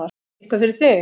Eitthvað fyrir þig